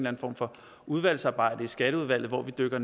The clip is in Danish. anden form for udvalgsarbejde i skatteudvalget hvor vi dykker